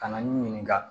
Ka na n'u ɲininka